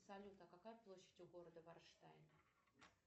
салют а какая площадь у города вайнштайм